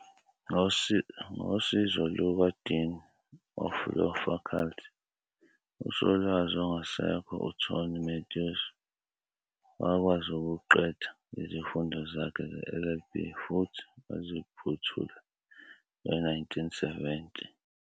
Ngosizo lukaDean of Law Faculty, uSolwazi ongasekho uTony Matthews, wakwazi ukuqeda izifundo zakhe ze-LLB futhi waziphothula nge-1970.